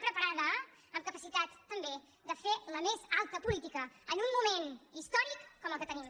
preparada amb capacitat també de fer la més alta política en un moment històric com el que tenim